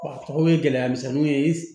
Wa a tɔgɔ bɛ gɛlɛya misɛnninw ye